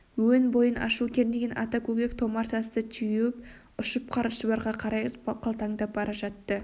өн бойын ашу кернеген ата көкек томар тасты теуіп ұшып қара шұбарға қарай қалбаңдап бара жатты